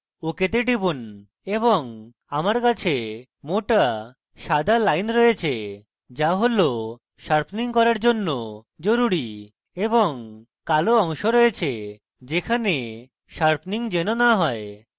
ok তে টিপুন এবং আমার কাছে মোটা সাদা lines রয়েছে যা sharpening করা জরুরী এবং কালো অংশ রয়েছে যেখানে sharpening যেন no হয়